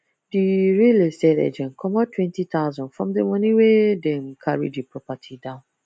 the real real estate agent comot 20000 from the money wey them carry the property down